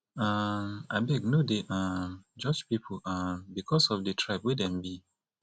um abeg no dey um judge pipu um because of di tribe wey dem be